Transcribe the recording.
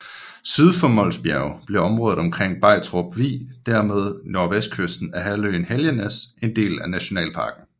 Syd for Mols Bjerge bliver området omkring Begtrup Vig og dermed nordvestkysten af halvøen Helgenæs en del af nationalparken